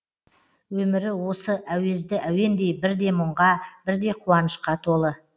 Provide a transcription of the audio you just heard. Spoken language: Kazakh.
өмірі осы әуезді әуендей бірде мұңға бірде қуанышқа толы